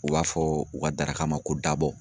U b'a fɔ u ka daraka ma ko dabɔ.